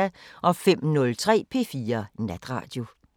05:03: P4 Natradio